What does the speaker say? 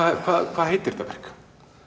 hvað hvað heitir þetta verk